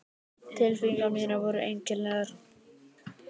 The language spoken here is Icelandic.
Tilfinningar mínar voru einkennilegar.